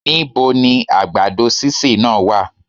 Níboni àgbàdo sísè náà wá?